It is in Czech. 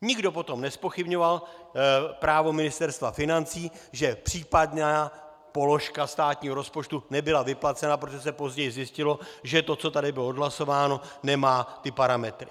Nikdo potom nezpochybňoval právo Ministerstva financí, že případná položka státního rozpočtu nebyla vyplacena, protože se později zjistilo, že to, co tady bylo odhlasováno, nemá ty parametry.